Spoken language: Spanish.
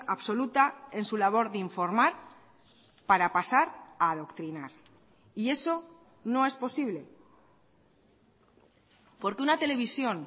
absoluta en su labor de informar para pasar a adoctrinar y eso no es posible porque una televisión